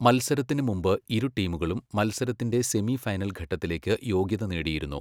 മത്സരത്തിന് മുമ്പ് ഇരു ടീമുകളും മത്സരത്തിന്റെ സെമി ഫൈനൽ ഘട്ടത്തിലേക്ക് യോഗ്യത നേടിയിരുന്നു.